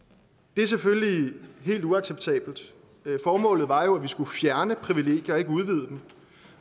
det er selvfølgelig helt uacceptabelt formålet var jo at vi skulle fjerne privilegier og ikke udvide dem